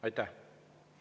Aitäh!